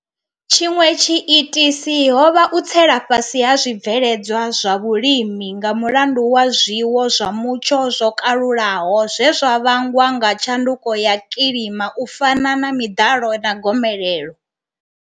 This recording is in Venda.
Tshiṅwe tshiitisi ho vha u tsela fhasi ha zwibveledzwa zwa vhulimi nga mulandu wa zwiwo zwa mutsho zwo kalulaho zwe zwa vhangwa nga tshanduko ya kilima u fana na miḓalo na gomelelo.